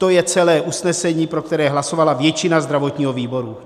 To je celé usnesení, pro které hlasovala většina zdravotního výboru.